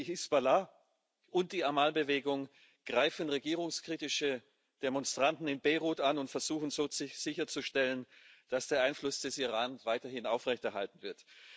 Die Hisbollah und die Amal Bewegung greifen regierungskritische Demonstranten in Beirut an und versuchen so sicherzustellen, dass der Einfluss des Iran weiterhin aufrechterhalten wird.